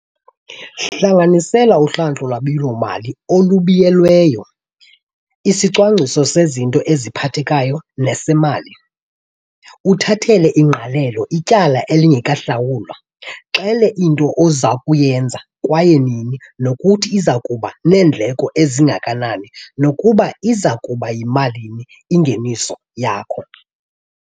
Hlanganisela uhlahlo lwabiwo-mali olubuyelelweyo, isicwangciso sezinto eziphathekayo nesemali, uthathele ingqalelo ityala elingekahlawulwa. Xela into oza kuyenza kwaye nini nokuthi iza kuba neendleko ezingakanani nokuba iza kuba yimalini ingeniso yakho.